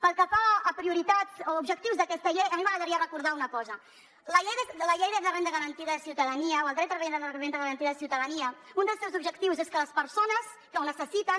pel que fa a prioritats o objectius d’aquesta llei a mi m’agradaria recordar una cosa la llei de la renda garantida de ciutadania o el dret a la renda garantida de ciutadania un dels seus objectius és que les persones que ho necessiten